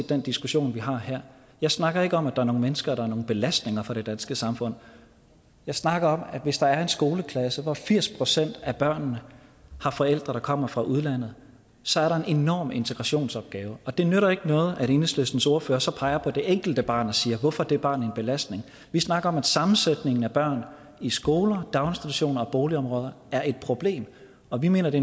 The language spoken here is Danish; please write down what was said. den diskussion vi har her jeg snakker ikke om at der er nogle mennesker der er nogen belastning for det danske samfund jeg snakker om at hvis der er en skoleklasse hvor firs procent af børnene har forældre der kommer fra udlandet så er der en enorm integrationsopgave og det nytter ikke noget at enhedslistens ordfører så peger på det enkelte barn og siger hvorfor er det barn en belastning vi snakker om at sammensætningen af børn i skoler daginstitutioner og boligområder er et problem og vi mener det